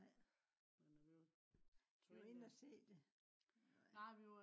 nej var i inde og se det